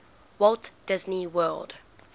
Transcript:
walt disney world